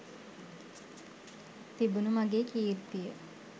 තිබුණු මගේ කීර්තිය